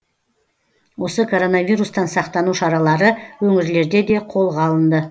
осы короновирустан сақтану шаралары өңірлерде де қолға алынды